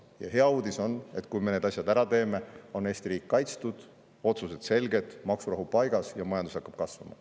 Ja hea uudis on, et kui me need asjad ära teeme, on Eesti riik kaitstud, otsused selged, maksurahu paigas ja majandus hakkab kasvama.